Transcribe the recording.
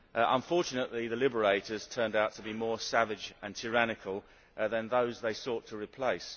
Unfortunately, the liberators turned out to be more savage and tyrannical than those they sought to replace.